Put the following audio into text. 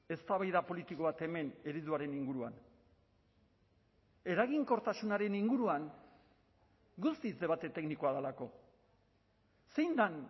eztabaida politiko bat hemen ereduaren inguruan eraginkortasunaren inguruan guztiz debate teknikoa delako zein den